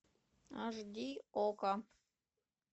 аш ди окко